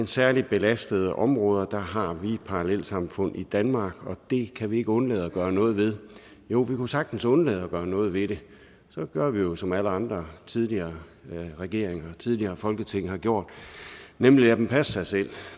særlig belastede områder har vi parallelsamfund i danmark og det kan vi ikke undlade at gøre noget ved jo vi kunne sagtens undlade at gøre noget ved det så gør vi jo som alle andre tidligere regeringer og tidligere folketing har gjort nemlig lader dem passe sig selv